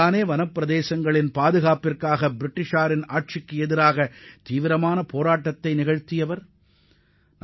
தங்களது வனப்பகுதியை பாதுகாப்பதற்காக பிரிட்டிஷ் ஏகாதிபத்தியத்தை எதிர்த்து கடுமையாக போரிட்ட பகவான் பிர்ஸாமுண்டாவை யாரும் மறக்க முடியாது